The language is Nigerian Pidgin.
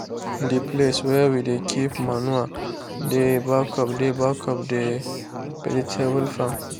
the place wey we dey keep manure dey back of dey back of the vegetable farm.